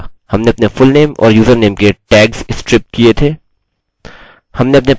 हमने अपने पासवर्ड को स्ट्रिप और एन्क्रिप्ट किया था